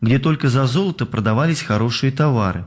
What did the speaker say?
мне только за золото продавались хорошие товары